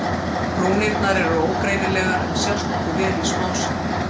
Rúnirnar eru ógreinilegar en sjást nokkuð vel í smásjá.